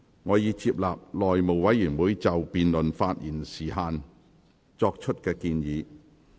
我已接納內務委員會就辯論發言時限作出的建議。